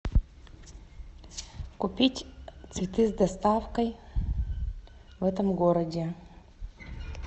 купить цветы с доставкой в этом городе